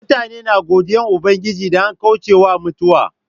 Mutane na godiyan Ubangiji idan an kauce wa mutuwa.